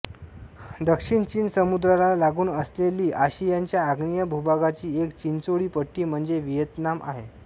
दक्षिण चीन समुद्राला लागून असलेली आशियाच्या आग्नेय भूभागाची एक चिंचोळी पट्टी म्हणजे व्हिएतनाम आहे